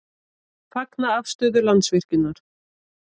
Fagna afstöðu Landsvirkjunar